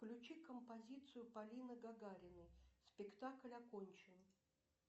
включи композицию полины гагариной спектакль окончен